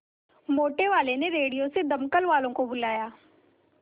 मोटेवाले ने रेडियो से दमकल वालों को बुलाया